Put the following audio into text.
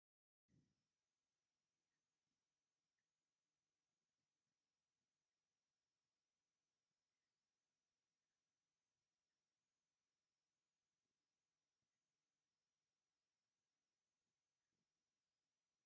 እዚ ኣብ ኣዲስ ኣበባ ዝርከብ ህንጻ ዋና ቤት ጽሕፈት ሕብረት ኣፍሪቃ እዩ። ዓመታዊ ዋዕላታት ሕብረት ኣፍሪቃ ኣብዚ ይካየድ። እዚ ታሪኻዊ ህንፃ ብኽንደይ ዓመታት ዝኽሪ ምምስራት ሕብረት ኣፍሪካ ኮይኑ ኣገልጊሉ?